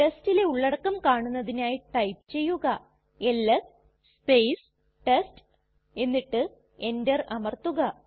ടെസ്റ്റിലെ ഉള്ളടക്കം കാണുന്നതിനായി ടൈപ്പ് ചെയ്യുക എൽഎസ് ടെസ്റ്റ് എന്നിട്ട് എന്റർ അമർത്തുക